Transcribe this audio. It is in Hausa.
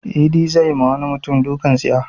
Idi zai ma wani mutum dukan tsiya.